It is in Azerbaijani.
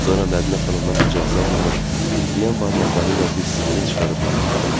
Sonra Mədinə xanımdan icazə almamış titrəyən barmaqları ilə bir siqaret çıxarıb yandırdı.